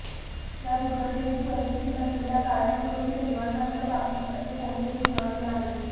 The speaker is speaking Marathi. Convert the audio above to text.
या दुर्घटनेची परिस्थिती नसलेल्या कायमस्वरुपी रहिवाशांच्या बाबतीत असे कोणतेही पुरावे नाहीत